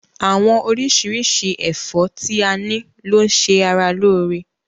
Àwọn oríṣiríṣi ẹfọ ti a ni lo n ṣe ará lóore.